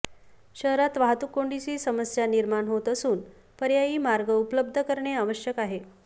शहरात वाहतूक कोंडीची समस्या निर्माण होत असून पर्यायी मार्ग उपलब्ध करणे आवश्यक आहे